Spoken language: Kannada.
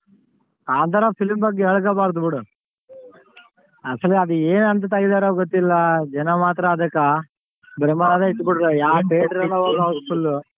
ಕಾಂತಾರ film ಬಗ್ಗೆ ಹೇಳ್ಕೋಬಾರ್ದು ಬಿಡು. ಅಸಲ್ ಅದ್ ಏನ್ ಅಂತ ತೆಗಿದಾರೋ ಗೊತ್ತಿಲ್ಲ ಜನ ಮಾತ್ರ ಅದಕ್ಕ ಯಾವ್ ಹೋಗ್ housefull.